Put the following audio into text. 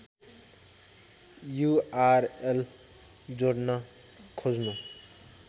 URL जोड्न खोज्नु